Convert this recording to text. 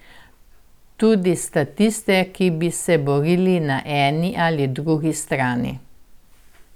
Tudi statiste, ki bi se borili na eni ali drugi strani.